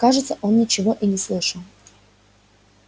кажется он ничего и не слышал